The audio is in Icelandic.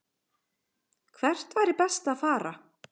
Hvert væri best að fara?